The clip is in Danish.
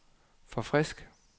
forfrisk